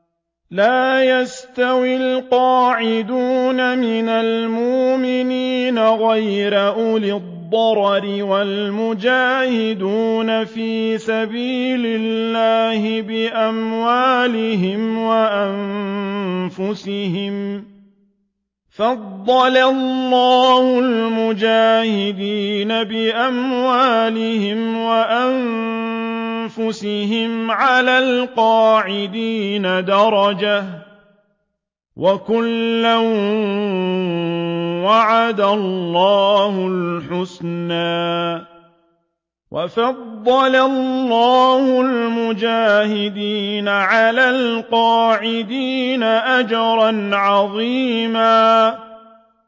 لَّا يَسْتَوِي الْقَاعِدُونَ مِنَ الْمُؤْمِنِينَ غَيْرُ أُولِي الضَّرَرِ وَالْمُجَاهِدُونَ فِي سَبِيلِ اللَّهِ بِأَمْوَالِهِمْ وَأَنفُسِهِمْ ۚ فَضَّلَ اللَّهُ الْمُجَاهِدِينَ بِأَمْوَالِهِمْ وَأَنفُسِهِمْ عَلَى الْقَاعِدِينَ دَرَجَةً ۚ وَكُلًّا وَعَدَ اللَّهُ الْحُسْنَىٰ ۚ وَفَضَّلَ اللَّهُ الْمُجَاهِدِينَ عَلَى الْقَاعِدِينَ أَجْرًا عَظِيمًا